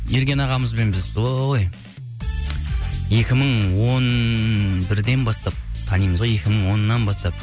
ерген ағамызбен біз ой екі мың он бірден бастап танимыз ғой екі мың оннан бастап